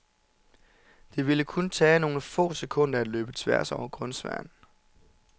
Det ville kun tage nogle få sekunder at løbe tværs over grønsværen.